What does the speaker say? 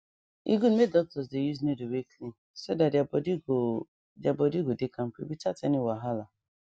e good make doctors dey use needle wey clean so that their body go their body go dey kampe without any wahala